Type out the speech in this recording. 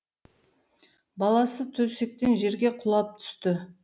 баласы төсектен жерге құлап түсті